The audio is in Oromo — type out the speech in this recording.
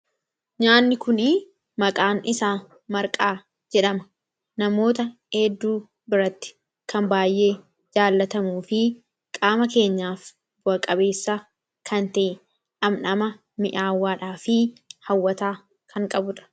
nyaanni kuni maqaan isaa marqaa jedhama namoota heedduu biratti kan baay'ee jaalatamu fi qaama keenyaaf bu'a qabeessa kan ta'e dhamdhama mi'aawwaadhaa fi hawwataa kan qabudha.